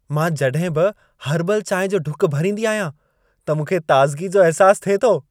मां जड॒हिं बि हर्बल चांहि जो ढुक भरींदी आहियां त मूंखे ताज़गी जो अहिसासु थिए थो।